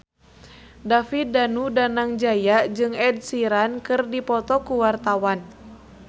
David Danu Danangjaya jeung Ed Sheeran keur dipoto ku wartawan